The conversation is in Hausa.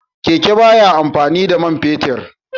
Keke ba ya amfani da man fetur